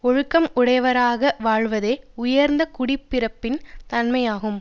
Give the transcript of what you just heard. ஒழுக்கம் உடையவராக வாழ்வதே உயர்ந்த குடிப்பிறப்பின் தன்மையாகும்